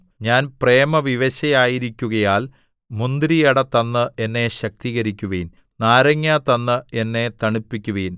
ഞാൻ പ്രേമവിവശയായിരിക്കുകയാൽ മുന്തിരിയട തന്ന് എന്നെ ശക്തീകരിക്കുവിൻ നാരങ്ങാ തന്ന് എന്നെ തണുപ്പിക്കുവിൻ